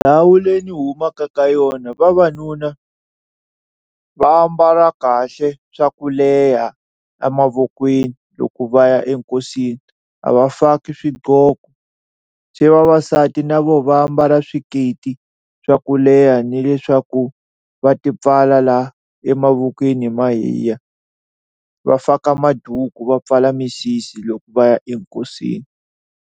Ndhawu leyi ni humaka ka yona vavanuna va ambala kahle swa ku leha a mavokweni loko va ya enkosini a va faki swiqoko, se vavasati na vona va mbala swiketi swa ku leha ni leswaku va ti pfala la emavokweni hi mahiya, va faka maduku va pfala misisi loko va ya enkosini.